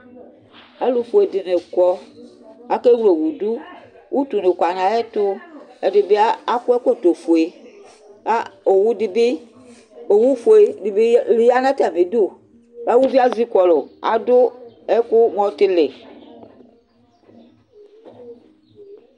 Ɔlufue ɖini kɔ Akɛ wle owu ɖu Utu ni ku nu ayɛtu Ɛdibi ak, akɔ ɛkɔtɔ fue Ka owu ɖi bi, owu fue ɖi bi ya nu atami iɖu Ku uʋi yɛ ezi kɔlu Aɖu ɛku mu ɔtili